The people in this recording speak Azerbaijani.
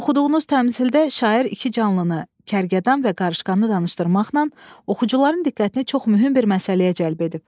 Oxuduğunuz təmsildə şair iki canlıını, kərgədan və qarışqanı danışdırmaqla oxucuların diqqətini çox mühüm bir məsələyə cəlb edib.